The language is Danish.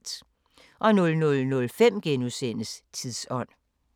00:05: Tidsånd *